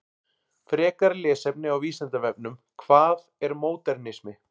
Frekara lesefni á Vísindavefnum: Hvað er módernismi?